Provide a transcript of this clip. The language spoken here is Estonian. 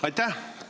Aitäh!